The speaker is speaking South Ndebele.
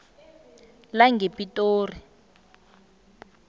langepitori